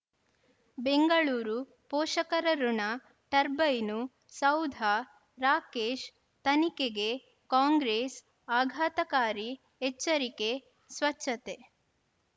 ಬೆಂಗಳೂರು ಪೋಷಕರಋಣ ಟರ್ಬೈನು ಸೌಧ ರಾಕೇಶ್ ತನಿಖೆಗೆ ಕಾಂಗ್ರೆಸ್ ಆಘಾತಕಾರಿ ಎಚ್ಚರಿಕೆ ಸ್ವಚ್ಛತೆ